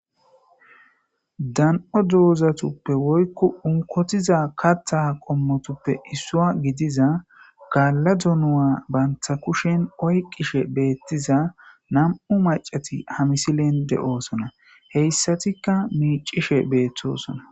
dan7o doozatuppe woykko unkotiza katha qommotuppe issua gidiza gaalladunuwa bantha kushen oyqishe beettiza nam7u macati hamisilen de7oosona heyssatikka miicishe beettosona